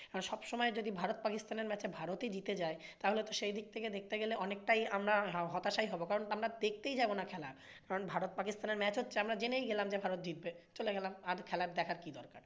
সবসময়ে যদি ভারত-পাকিস্তান match এ ভারতই জিতে যায় তাহলে তো সেদিক থেকে দেখতে গেলে অনেকটাই আমরা হতাশাই হবো কারণতো আমরা দেখতেই যাবোনা খেলা কারণ ভারত-পাকিস্তান এর match হচ্ছে আমরা জেনেই গেলাম ভারত জিতবে চলে গেলাম আর খেলা দেখার কি দরকার।